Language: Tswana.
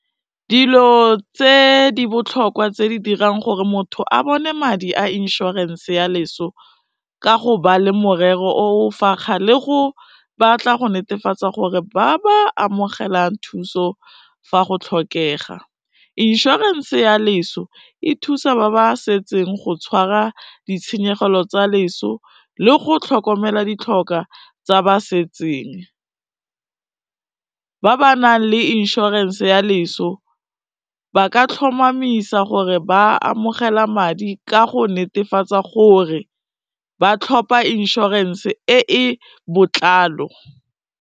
Dilo tse di botlhokwa tse di dirang gore motho a bone madi a insurance-e ya leso ka go ba le morero o o fakga le go batla go netefatsa gore ba ba amogelang thuso fa go tlhokega. Inšorense ya leso, e thusa ba ba setseng go tshwara ditshenyegelo tsa leso le go tlhokomela ditlhoka tsa ba setseng, ba ba nang le inšorense ya leso ba ka tlhomamisa gore ba amogela madi ka go netefatsa gore ba tlhopa inšorense e e botlalo.